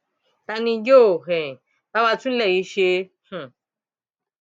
ta ni yóò um bá wa tún ilé yìí ṣe um